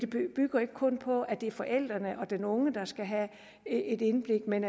bygger ikke kun på at det er forældrene og den unge der skal have et indblik men